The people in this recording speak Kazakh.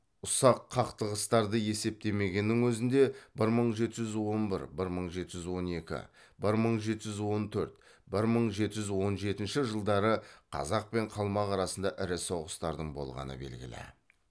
ұсақ қақтығыстарды есептемегеннің өзінде бір мың жеті жүз он бір бір мың жеті жүз он екі бір мың жеті жүз он төрт бір мың жеті жүз он жетінші жылдары қазақ пен қалмақ арасында ірі соғыстардың болғаны белгілі